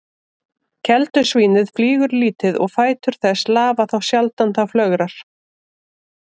Keldusvínið flýgur lítið og fætur þess lafa þá sjaldan það flögrar.